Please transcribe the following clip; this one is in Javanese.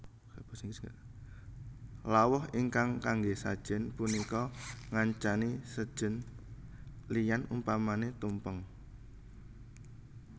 Lawuh ingkang kangge sajen punika ngancani sejen liyan umpamane tumpeng